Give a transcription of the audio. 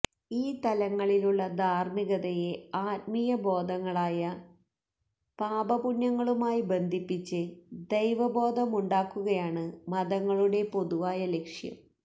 ഈ തലങ്ങളിലുള്ള ധാര്മ്മികതയെ ആത്മീയബോധങ്ങളായ പാപപുണ്യങ്ങളുമായി ബന്ധിപ്പിച്ച് ദൈവബോധമുണ്ടാക്കുകയാണ് മതങ്ങളുടെ പൊതുവായ ലക്ഷ്യം